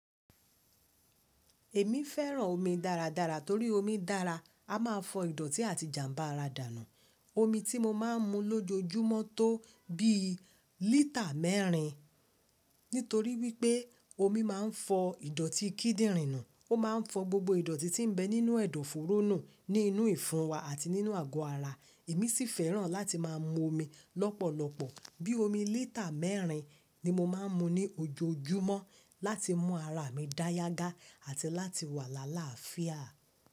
Èmi fẹ́ràn omi dáradára torí omi dára a máà fọ ìdọ̀tí àti jàmbá ara dànù. Omi tí mo máà ń mu lójoojúmọ́ tó bí lítà mẹ́rin. Nítorí wípé́ omi máà ń fọ ìdọ̀tí kíndìnrín nù, ó máà ń fọ gbogbo ìdọ̀tí tí ń bẹ nínú ẹ̀dọ̀fóró nù ní inú ìfúnwa àti nínú àgọ́ ara. Èmi sì fẹ́ràn láti máà mu omi lọ́pọ̀lọpọ̀, bí i omi lítà mẹ́rin ni mo máà ń mu ní ojoojúmọ́ láti mú ara mi dá yágà àti láti wà lálaàfíà.